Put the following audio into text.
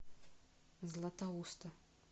златоуста